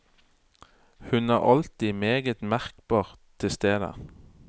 Hun er alltid meget merkbart til stede.